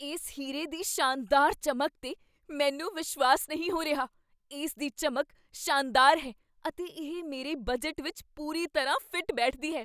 ਇਸ ਹੀਰੇ ਦੀ ਸ਼ਾਨਦਾਰ ਚਮਕ 'ਤੇ ਮੈਨੂੰ ਵਿਸ਼ਵਾਸ ਨਹੀਂ ਹੋ ਰਿਹਾ! ਇਸ ਦੀ ਚਮਕ ਸ਼ਾਨਦਾਰ ਹੈ ਅਤੇ ਇਹ ਮੇਰੇ ਬਜਟ ਵਿੱਚ ਪੂਰੀ ਤਰ੍ਹਾਂ ਫਿੱਟ ਬੈਠਦੀ ਹੈ।